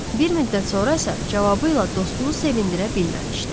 Bir müddət sonra isə cavabı ilə dostunu sevindirə bilməmişdi.